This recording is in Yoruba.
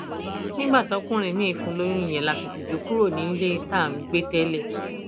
nígbà tọkùnrin miín fún un lóyún yẹn la fìtìjú kúrò nílé tá à ń gbé tẹlẹ